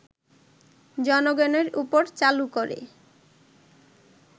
জনগণের ওপর চালু করে